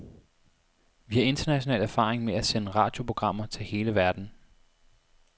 Vi har international erfaring med at sende radioprogrammer til hele verden.